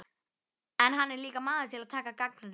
En hann er líka maður til að taka gagnrýni.